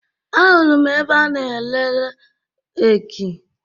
Ahụrụ m ebe a na-ere reeki